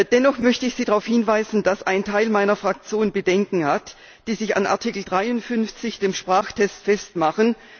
Dennoch möchte ich Sie darauf hinweisen, dass ein Teil meiner Fraktion Bedenken hat, die sich an Artikel 53, dem Sprachtest, festmachen.